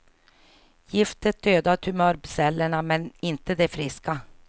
Giftet dödar tumörcellerna, men inte de friska.